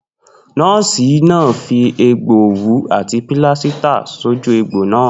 Nó̩ò̩sì náà fi è̩gbo̩n òwú àti pílásítà sójú egbò náà